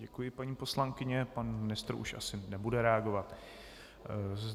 Děkuji, paní poslankyně, pan ministr už asi nebude reagovat.